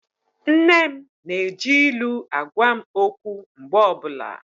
Nne m na-eji ilu agwa m okwu mgbe ọbụla.